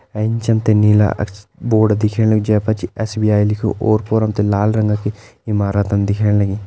ऐंच हमते नीला अच्छ बोर्ड दिख्याणु जै पर एस.बी.आई. लिख्यूं और-पोर हमते लाल रंग की इमारत दिख्याण लगीं।